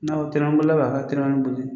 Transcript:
N'aw tɛnɛn na n bolo la ka hakilina in